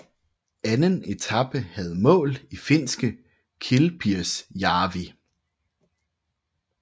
Anden etape havde mål i finske Kilpisjärvi